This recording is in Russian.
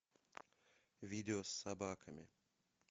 видео с собаками